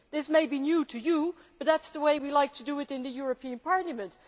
This may be new to you, but that is the way we like to do it in the European Parliament.